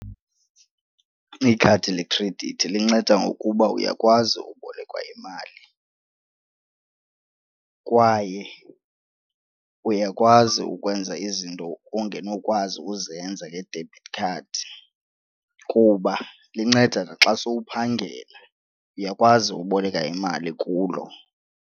Ikhadi lekhredithi linceda ngokuba uyakwazi ukubolekwa imali kwaye uyakwazi ukwenza izinto ongenokwazi ukuzenza nge-debit card kuba linceda naxa sowuphangela uyakwazi ukuboleka imali kulo.